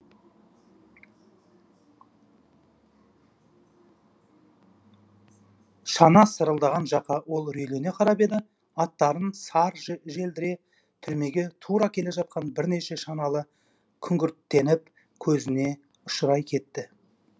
шана сырылдаған жаққа ол үрейлене қарап еді аттарын сар желдіре түрмеге тура келе жатқан бірнеше шаналы күңгірттеніп көзіне ұшырай кетті